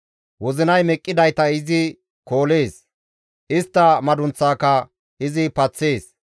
Wozinay meqqidayta izi koolees; istta madunththaaka izi paththees.